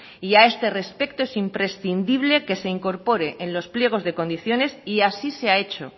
y a este respecto es imprescindible que se incorpore en los pliegos de condiciones y así se ha hecho